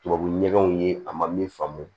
Tubabu ɲɛgɛnw ye a ma min faamu